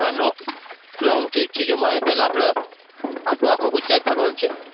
હા નો long trip છે જે મારે પેલા આપડ આટલું આટલું આખું ગુજરાત ફરવાનું છે.